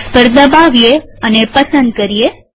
box પર દબાવીએ અને પસંદ કરીએ